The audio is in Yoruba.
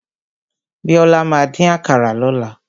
Bíọ́lá máa dín àkàrà lọ́la.